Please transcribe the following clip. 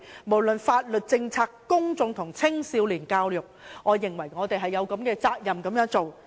不論是在法律、政策、公眾及青少年教育方面，我認為我們也有責任這樣做。